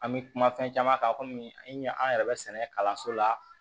An bɛ kuma fɛn caman kan kɔmi an ɲɛ an yɛrɛ bɛ sɛnɛ kalanso la